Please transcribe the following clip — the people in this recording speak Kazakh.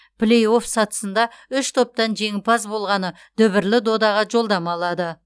плей офф сатысында үш топтан жеңімпаз болғаны дүбірлі додаға жолдама алады